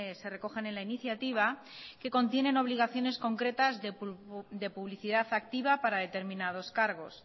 se recogen en la iniciativa que contienen obligaciones concretas de publicidad activa para determinados cargos